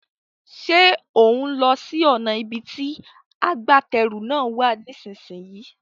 Ṣé òún lọ sí ọ̀nà ibi tí agbátẹrù náà wà nísìsiyìí?